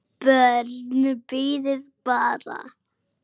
BJÖRN: Bíðið bara!